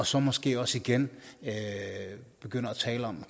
så måske også igen begynder at tale om